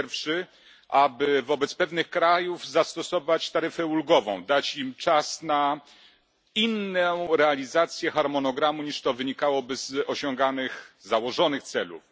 Pierwszy aby wobec pewnych krajów zastosować taryfę ulgową, dać im czas na inną realizację harmonogramu niż to wynikałoby z osiąganych, założonych celów.